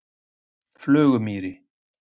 Flugumýri